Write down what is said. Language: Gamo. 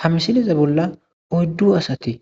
ha misiliza bolla oyddu asati